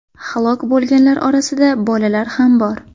Halok bo‘lganlar orasida bolalar ham bor.